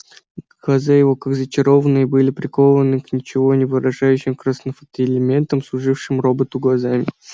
глаза его как зачарованные были прикованы к ничего не выражающим красноватым фотоэлементам служившим роботу глазами